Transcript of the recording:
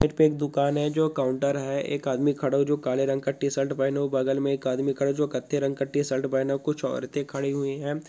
एक पे एक दुकान है जो काउंटर है एक आदमी खड़ा है जो काले रंग का टीशर्ट पहना हुआ बगल में एक आदमी खड़ा जो कत्थई रंग का टीशर्ट पहना हुआ कुछ औरते खड़ी हुई है।